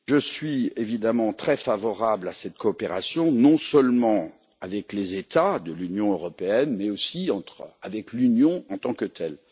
Je suis évidemment très favorable à cette coopération, non seulement avec les États de l'Union européenne mais aussi avec l'Union en tant que telle.